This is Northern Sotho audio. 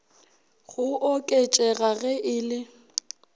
go oketšega ge e le